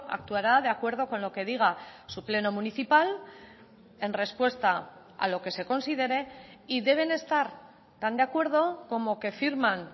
actuará de acuerdo con lo que diga su pleno municipal en respuesta a lo que se considere y deben estar tan de acuerdo como que firman